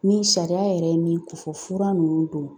Ni sariya yɛrɛ ye min ko fɔ, fura ninnu don